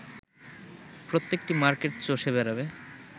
প্রত্যেকটি মার্কেট চষে বেড়াবে